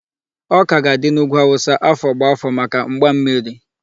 Ọka ga-adị n'ugwu Hausa afọ gbá afọ maka mgbammiri.